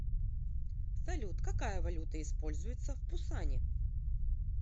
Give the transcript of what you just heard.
салют какая валюта используется в пусане